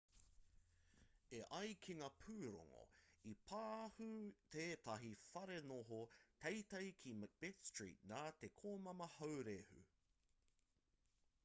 e ai ki ngā pūrongo i pahū tētahi wharenoho teitei ki macbeth street nā te komama haurehu